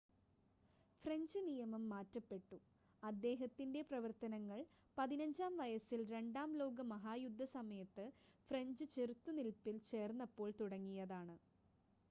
French നിയമം മാറ്റപ്പെട്ടു അദ്ദേഹത്തിൻ്റെ പ്രവർത്തനങ്ങൾ 15-ആം വയസ്സിൽ രണ്ടാം ലോക മഹായുദ്ധസമയത്ത് ഫ്രഞ്ച് ചെറുത്ത് നിൽപ്പിൽ ചേർന്നപ്പോൾ തുടങ്ങിയതാണ്